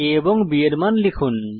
a ও b এর মান লিখুন